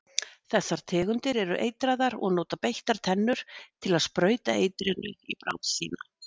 Þessar tegundir eru eitraðar og nota beittar tennurnar til að sprauta eitrinu í bráð sína.